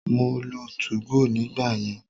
Mo lo 2go nígbà yẹn.